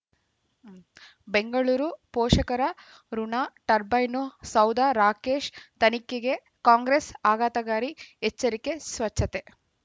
ಬೆಂಗಳೂರು ಪೋಷಕರಋಣ ಟರ್ಬೈನು ಸೌಧ ರಾಕೇಶ್ ತನಿಖೆಗೆ ಕಾಂಗ್ರೆಸ್ ಆಘಾತಕಾರಿ ಎಚ್ಚರಿಕೆ ಸ್ವಚ್ಛತೆ